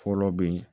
Fɔlɔ bɛ ye